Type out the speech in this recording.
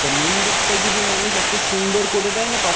তো main gate তাই মানুষ সুন্দর করে দেয় না তখন ।